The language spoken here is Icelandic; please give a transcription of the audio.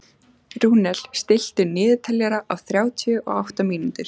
Rúnel, stilltu niðurteljara á þrjátíu og átta mínútur.